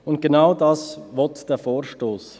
Und genau das will dieser Vorstoss.